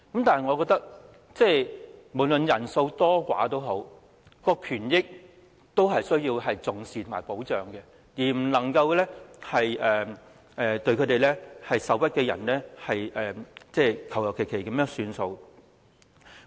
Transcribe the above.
但是，我認為不論人數多寡，她們的權益均須受到重視和保障，而對受屈的人，我們不能馬虎了事。